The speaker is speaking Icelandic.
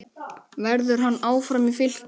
Verður hann áfram í Fylki?